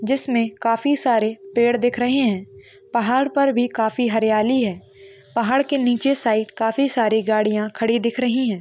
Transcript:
जिसमे काफी सारे पेड़ दिख रहे है। पहाड़ पर भी काफी हरियाली है। पहाड़ के नीचे साईड काफी सारी गाड़िया खड़ी दिख रही है।